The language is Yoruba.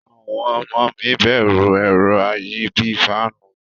Awon omo mi beru ero ayi bii faanu.